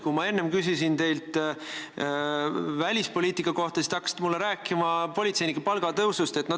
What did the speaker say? Kui ma enne küsisin teilt välispoliitika kohta, siis te hakkasite mulle rääkima politseinike palga tõusust.